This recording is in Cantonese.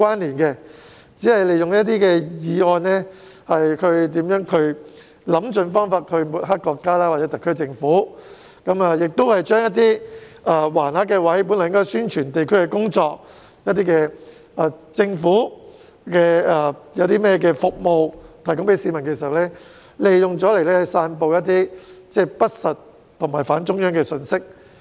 他們只是利用有關議案，想方設法抹黑國家或特區政府，並將原先應用作展示橫幅宣傳地區工作或政府服務的地方，用作散布不實或反中央的信息。